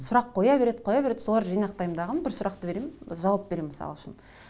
сұрақ қоя береді қоя береді соларды жинақтаймын дағы бір сұрақты беремін жауап беремін мысал үшін